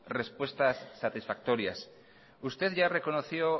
respuestas satisfactorias usted ya reconoció